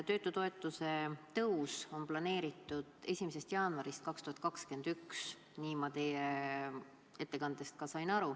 Töötutoetuse tõus on planeeritud 1. jaanuarist 2021, niimoodi ma ettekandest aru sain.